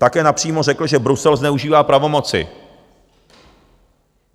Také napřímo řekl, že Brusel zneužívá pravomoci.